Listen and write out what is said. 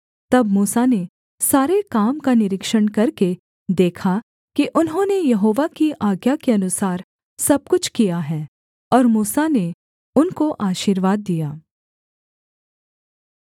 तब मूसा ने सारे काम का निरीक्षण करके देखा कि उन्होंने यहोवा की आज्ञा के अनुसार सब कुछ किया है और मूसा ने उनको आशीर्वाद दिया